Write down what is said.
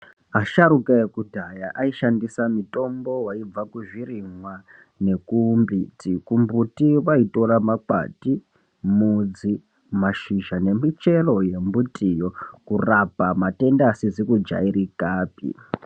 Asharukwa ekudhaya aishandisa mitombo yaibva kuzvirimwa nekumbuti. Kumbiti vaitora makwati mudzi mashizha nemichero wembuti yo kurapa matenda asizi kujairikapi.